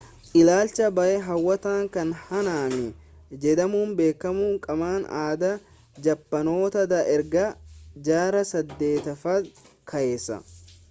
ilaalcha baayee hawwataa kan haanaamii jedhamuun beekamu qaama aadaa jaappaanota dha erga jaarraa 8ffaadhaa kaase